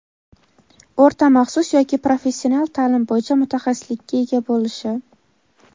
o‘rta maxsus yoki professional taʼlim bo‘yicha mutaxassislikka ega bo‘lishi;.